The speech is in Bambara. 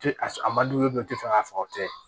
tɛ fɛ k'a fɔ o tɛ